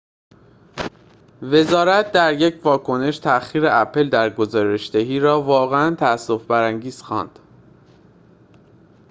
وزارت در یک واکنش تأخیر اپل در گزارش‌دهی را واقعاً تأسف برانگیز خواند